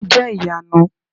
o jẹ iyanu!